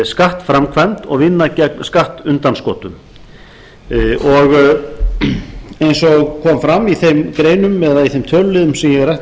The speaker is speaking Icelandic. skattframkvæmd og vinna vegna skattundanskotum eins og kom fram í þeim greinum eða í þeim töluliðum sem ég rakti